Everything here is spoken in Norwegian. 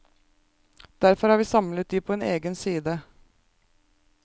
Derfor har vi samlet de på en egen side.